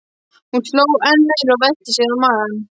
Hún hló enn meira og velti sér á magann.